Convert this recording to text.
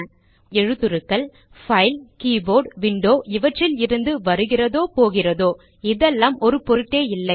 உண்மையில் எழுத்துருக்கள் file keyboard window இவற்றில் இருந்து வருகிறதோ போகிறதோ இதெல்லாம் ஒரு பொருட்டே இல்லை